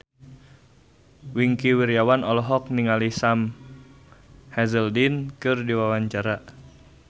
Wingky Wiryawan olohok ningali Sam Hazeldine keur diwawancara